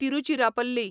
Tiruchirappalli